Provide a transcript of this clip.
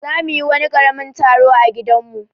Za mu yi wani karamin taro a gidan mu.